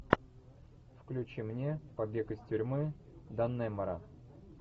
включи мне побег из тюрьмы даннемора